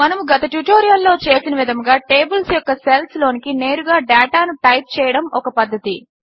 మనము గత ట్యుటోరియల్లో చేసినవిధముగా టేబిల్స్ యొక్క సెల్స్ లోనికి నేరుగా డేటాను టైప్ చేయడము ఒక పద్ధతి